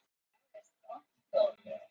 þeir stofnuðu verslanakeðjuna hagkaup